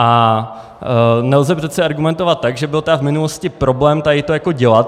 A nelze přece argumentovat tak, že byl tedy v minulosti problém tady to dělat.